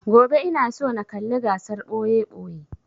Gobe ina so na kalla gasar ɓoye-ɓoye